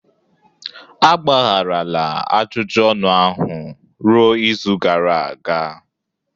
Agbagharala ajụjụ ọnụ ahụ ruo izu gara aga